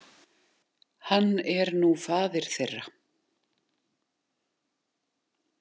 Hann er nú faðir þeirra.